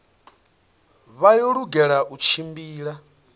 vha yo lugela u tshimbila